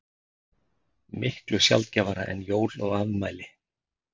Miklu sjaldgæfara en jól og afmæli.